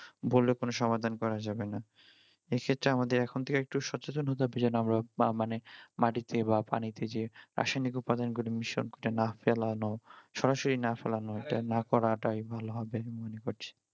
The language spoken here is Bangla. বলে কোন সমাধান করা যাবে না এই ক্ষেত্রে আমাদের এখন থেকে একটু সচেতন হতে হবে যেন আমরা বা মানে মাটিতে বা পানিতে যে রাসায়নিক উপাদান গুলো না ফেলানো সরাসরি না ফেলানো এটা না করাটাই ভালো হবে মনে করছি